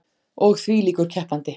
Og þvílíkur keppandi.